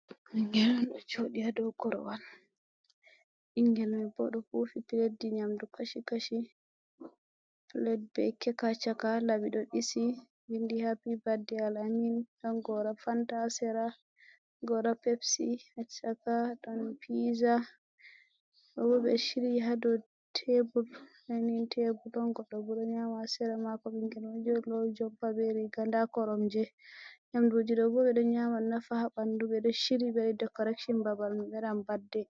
Ɓingel ɗo joɗi ha dow korowal ɓingel mai bo ɗo hufi piletji nyamdu kashi kashi plet be kekachaka laɓi ɗo ɗisi vindi hapi badde Al-amin ɗon gora Fanta ha sera gora pepsi ha chaka ɗon piza ɗo bo ɓe shiryi ha dow tebul dinin tebul ɗon goɗɗo bo ɗo nyama ha sera mako ɓingel mai ɗo lowi jompa be riga nda koromje nyamduji ɗo bo ɓe ɗo nyama nafa ha bandu ɓe ɗo shiryi ɓe waɗi dekoretion babal mai ɓe waɗan badde.